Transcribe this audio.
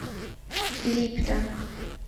липтон